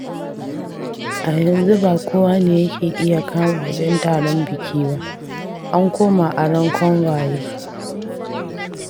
A yanzu ba kowa ne yake iya kama wajen taron biki ba, an koma aron kangwaye.